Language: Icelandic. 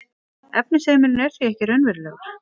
efnisheimurinn er því ekki raunverulegur